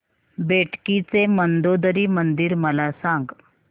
बेटकी चे मंदोदरी मंदिर मला सांग